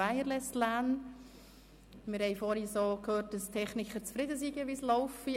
Wir haben vorhin gehört, dass die Techniker zufrieden sind, wie es läuft.